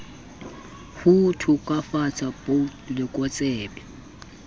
ho to kafatsa bot lokotsebe